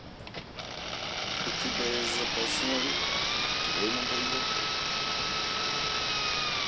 у тебя есть запасной или твой надоел